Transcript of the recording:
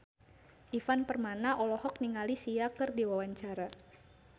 Ivan Permana olohok ningali Sia keur diwawancara